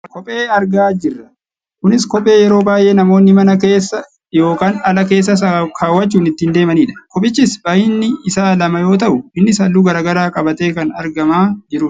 kophee argaa jirra. kunis kophee yeroo baayyee namoonni mana keessa yookaan ala keessas kaawwachuun ittiin deemanidha. kophichis baayyinni isaa lama yoo ta'u innis halluu gara garaa qabatee kan argamaa jirudha.